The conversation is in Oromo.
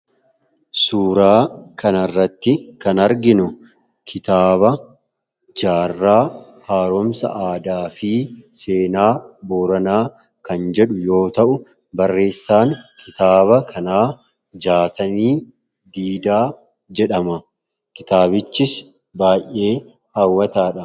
suuraa kana irratti kan arginu kitaaba jaarraa haaroomsa aadaa fi seenaa booranaa kan jedhu yoo ta'u , barreessaan kitaaba kanaa Jaatanii Diidaa jedhama kitaabichis baay'ee haawwataadha.